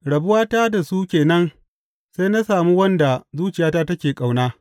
Rabuwata da su ke nan sai na sami wanda zuciyata take ƙauna.